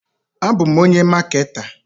Abu m onye maketa.